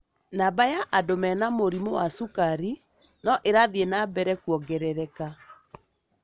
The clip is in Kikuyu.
Namba ya andũ mena mũrimũ wa cukari no ĩrathi na mbere kũongerereka.